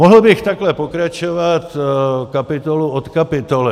Mohl bych takhle pokračovat kapitolu od kapitoly.